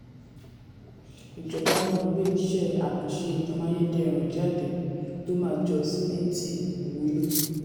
ìjọba máa gbé iṣẹ́ àkànṣe amáyédẹrùn jáde tó máa jọ sìmẹ́ntì wulo.